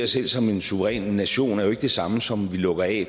selv som en suveræn nation er jo ikke det samme som at vi lukker af